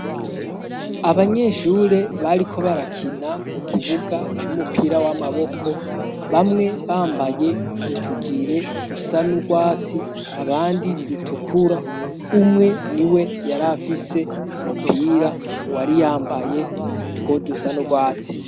Abanyeshure bariko barakina ku kibuga c'umupira w'amaboko bamwe bambaye utujire dusa n'urwatsi abandi dutukura umwe ni we yari afise umupira uwari yambaye utwo dusa n'urwatsi.